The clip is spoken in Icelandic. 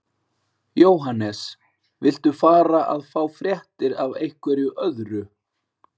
Jóhannes: Viltu fara að fá fréttir af einhverju öðru?